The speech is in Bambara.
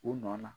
U nɔ na